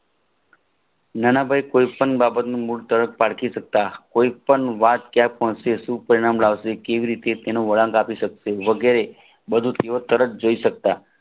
નાનાભાઈ કોઈ પણ બાબતે મૂળ તરતજ પારખી સકતા કોઈ પણ વાત ક્યાં પહોંચે શુ પરીણામ લાવસે કેવી રીતે એનો વળાંક આપી શકે વગેરે બધું તરત જોય સકતા